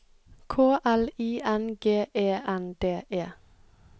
K L I N G E N D E